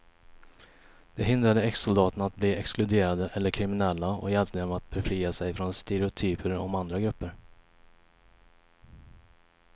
Det hindrade exsoldaterna att bli exkluderade eller kriminella och hjälpte dem att befria sig från stereotyper om andra grupper.